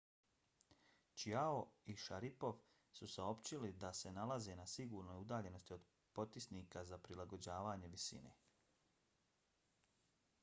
chiao i sharipov su saopćili da se nalaze na sigurnoj udaljenosti od potisnika za prilagođavanje visine